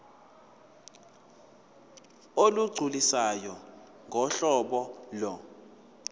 olugculisayo ngohlobo lo